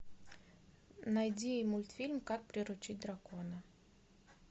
найди мультфильм как приручить дракона